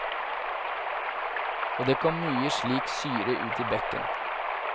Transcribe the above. Og det kom mye slik syre ut i bekken.